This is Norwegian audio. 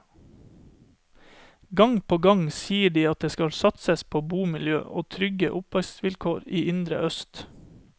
Gang på gang sier de at det skal satses på bomiljø og trygge oppvekstvilkår i indre øst.